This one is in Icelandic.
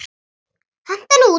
Hentu henni út!